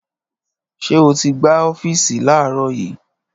Ṣé o ti gbá ọ́fíìsì láàárọ̀ yìí?